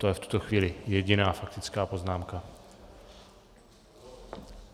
To je v tuto chvíli jediná faktická poznámka.